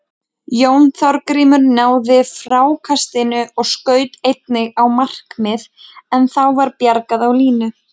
Jón Þorgrímur náði frákastinu og skaut einnig á markið en þá var bjargað á línu.